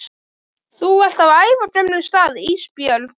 Þú ert á ævagömlum stað Ísbjörg